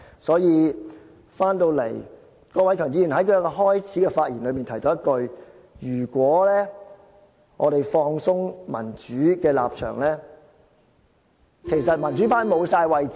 說回來，郭偉强議員在開場發言時提到，如果我們放鬆對民主的立場，其實民主派已沒有位置......